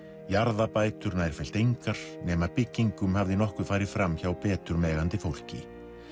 jarðabætur nærfellt engar nema byggingum hafði nokkuð farið fram hjá betur megandi fólki